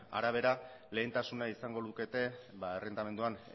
arabera lehentasuna izango lukete errentamenduan